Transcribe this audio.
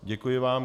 Děkuji vám.